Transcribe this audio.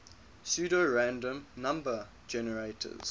pseudorandom number generators